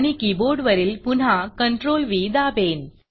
आणि कीबोर्ड वरील पुन्हा CTRLV दाबेन